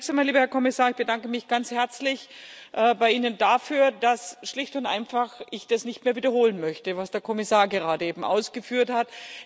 Zunächst einmal, lieber Herr Kommissar, bedanke ich mich ganz herzlich bei Ihnen dafür, dass schlicht und einfach ich das nicht mehr wiederholen möchte, was der Kommissar gerade eben ausgeführt hat.